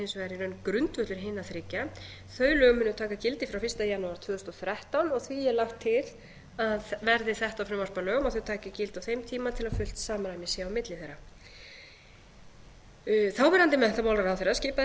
hins vegar í raun grundvöllur hina þriggja þau lög munu taka gildi frá fyrsta janúar tvö þúsund og þrettán og því er lagt til að verði þetta frumvarp að lögum taki þau gildi á þeim tíma til að fullt samræmi sé á milli þeirra þáverandi menntamálaráðherra skipaði starfshóp